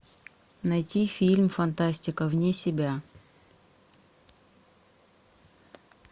найти фильм фантастика вне себя